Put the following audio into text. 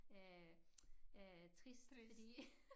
Øh øh trist fordi